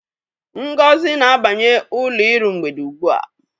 Ngozi na-abanye ụlọ iru mgbede ugbua.